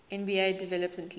nba development league